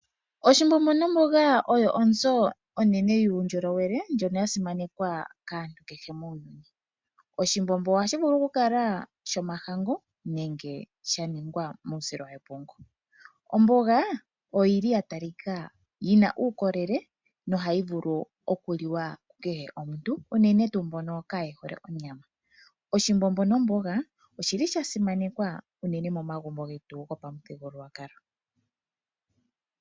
Oshimbombo nomboga oyo onzo onene yuundjolowele ndjono ya simanekwa kaantu oyendji muuyuni. Oshimbombo ohashi vulu okukala shomahangu nenge sha telekwa muusila wepungu. Omboga oya talika ko onga yi na uukolele nohayi vulu okuliwa kukehe omuntu unene tuu kwaa mboka kaye hole onyama. Oshimbombo nomboga osha simanekwa momagumbo getu gOshiwambo.